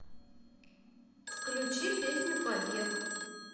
включи песню побег